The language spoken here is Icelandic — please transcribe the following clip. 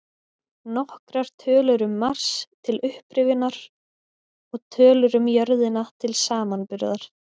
Nokkrar tölur um Mars, til upprifjunar, og tölur um jörðina til samanburðar: